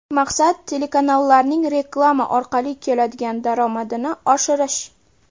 Maqsad – telekanallarning reklama orqali keladigan daromadini oshirish.